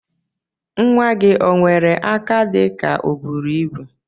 Nwa gi onwere aka dika oburu ibu?